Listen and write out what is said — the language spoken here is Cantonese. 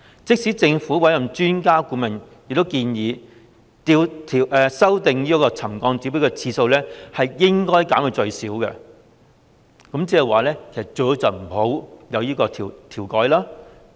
即使政府委任的專家顧問亦建議，修訂沉降指標的次數應該減至最少，即最好不要調整。